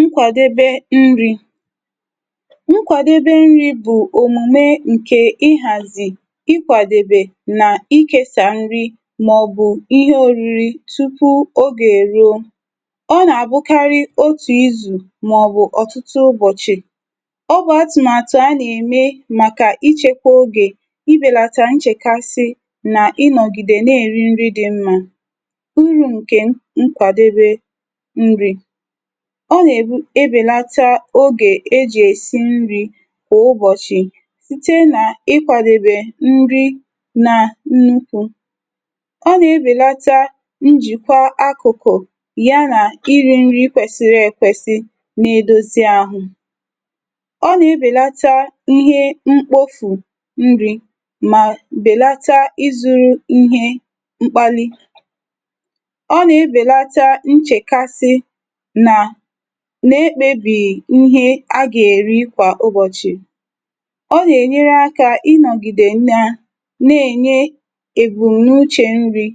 Nkwadebe nri. Nkwadebe nri bụ omume nke ịhazi, ịkwadebe, ịkesa nri maọbụ ihe oriri tupu oge eruo. Ọ na-abụkarị otu izu maọbụ otutu ụbọchị. Ọ bụ atụmatụ a na-eme maka ichekwa oge, ibelata ncjekasị na ịnọgide na-eri nri dị mmma. Uru nke Nkwadebe Nri. Ọ na-ebu ebelata oge e ji esi nri kwa ụbọchị site na ịkwadebe nri na nnukwu. Ọ na-ebelata njikọ akụkụ ya na iri nri kwesịrị ekwesị na-edozi ahụ. Ọ na-ebelata ihe mkpofu nri ma belata ịzụ ihe mkpálí. Ọ na-ebelata nchekasị ihe a ga-eri kwa ụbọchị. Ọ na-enyere aka ịnọgide na na-enye ebumnuche nri